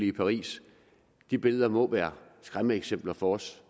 i paris de billeder må være skræmmeeksempler for os